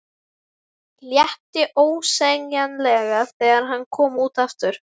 Létti ósegjanlega þegar hann kom aftur út.